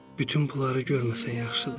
Bütün bunları görməsən yaxşıdır.